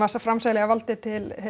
framselja valdið til